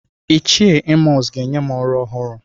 Ichie Emọs ga-enye m ọrụ ọhụrụ.